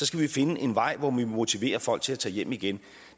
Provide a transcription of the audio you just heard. skal vi finde en vej hvor vi motiverer folk til at tage hjem igen